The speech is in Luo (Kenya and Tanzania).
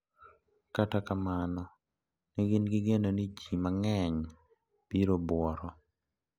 Kata kamano ne gin gi geno ni ji mang`eny biro buoro.